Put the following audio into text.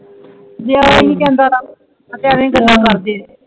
ਜਿਯਾ ਹੀ ਜਾਂਦਾ ਏ ਤੇ ਆਵਈ ਗੱਲਾਂ ਕਰਦੇ